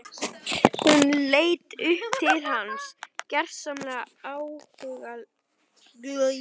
Hún leit upp til hans gersamlega áhugalaus.